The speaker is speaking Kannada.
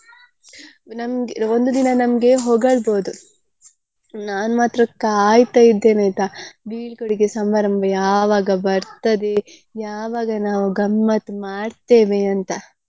ನಮ್ಗೆ ಒಂದು ದಿನ ನಮ್ಗೆ ಹೊಗಳ್ಬೋದು ನಾನ್ ಮಾತ್ರ ಕಾಯ್ತಾ ಇದ್ದೇನೆ ಆಯ್ತಾ ಬೀಳ್ಕೊಡುಗೆ ಸಮಾರಂಭ ಯಾವಾಗ ಬರ್ತದೆ ಯಾವಾಗ ನಾವು ಗಮ್ಮತ್ತ್ ಮಾಡ್ತೇವೆ ಅಂತ.